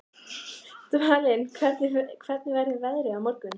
Dvalinn, hvernig verður veðrið á morgun?